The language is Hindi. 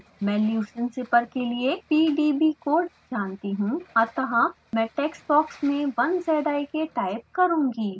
मैं leucine zipper के लिए pdb कोड जानती हूँ अतः मैं टेक्स्ट बॉक्स में 1zik टाइप करुँगी